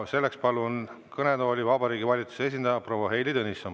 Selleks palun kõnetooli Vabariigi Valitsuse esindaja proua Heili Tõnissoni.